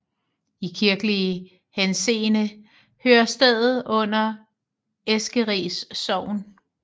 I kirkelig henseende hører stedet under Eskeris Sogn